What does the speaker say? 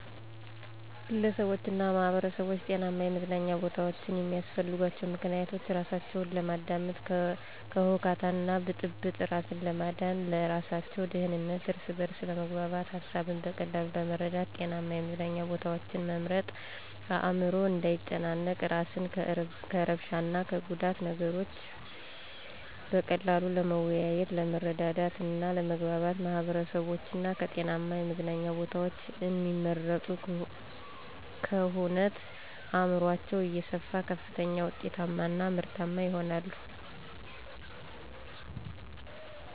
ግለሰቦችና ማህበረሰቦች ጤናማ የመዝናኛ ቦታዎችን የሚያስፈልጋቸው ምክንያቶች:-እራሳቸውን ለማዳመጥ፤ ከሁከትና ብጥብጥ እራስን ለማዳን፤ ለእራሳቸው ደህንነት፤ እርስ በርስ ለመግባባት፤ ሀሳብን በቀላሉ ለመረዳት። ጤናማ የመዝናኛ ቦታዎችን መምረጥ አዕምሮ እንዳይጨናነቅ፤ እራስን ከእርብሻ እና ከጉዳት፤ ነገሮችን በቀላሉ ለመወያየት፤ ለመረዳዳት እና ለመግባባት። ማህበረሰቦች ከጤናማ የመዝናኛ ቦታዎችን እሚመርጡ ክህነት አዕምሯቸው እየሰፋ ከፍተኛ ውጤታማ እና ምርታማ ይሆናሉ።